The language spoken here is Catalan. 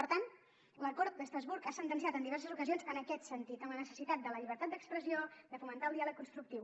per tant l’acord d’estrasburg ha sentenciat en diverses ocasions en aquest sentit en la necessitat de la llibertat d’expressió de fomentar el diàleg constructiu